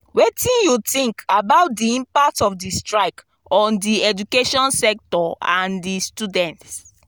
wetin you think about di impact of di strike on di education sector and di students?